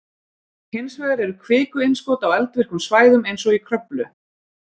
Hins vegar eru kvikuinnskot á eldvirkum svæðum eins og í Kröflu.